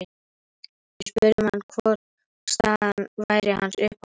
Við spurðum hann hvor staðan væri hans uppáhalds?